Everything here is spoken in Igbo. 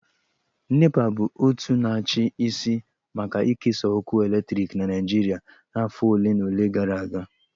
NEPA bụ otu na-achị isi maka ikesa ọkụ eletrik na Naịjirịa afọ ole na ole gara aga